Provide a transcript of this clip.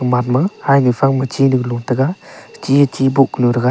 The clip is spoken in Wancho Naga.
manma hainu phangma chinu lo tega chi a chi bow kunu thega.